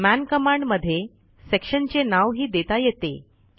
मन कमांड मध्ये सेक्शनचे नावही देता येते